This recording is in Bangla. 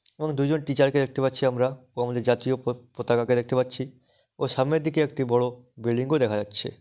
এবং দুজন টিচার -কে দেখতে পাচ্ছি আমরা এবং আমাদের জাতীয় প পতাকাকে দেখতে পাচ্ছি ও সামনের দিকে একটি বড় বিল্ডিং -কেও দেখা যাচ্ছে ।